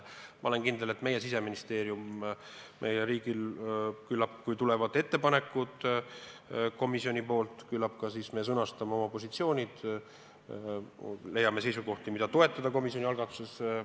Ma olen kindel, et kui komisjoni ettepanekud tulevad, siis küllap meie Siseministeerium, meie riik oma positsioonid sõnastab ja me leiame ka seisukohti, mida komisjoni algatuses toetada.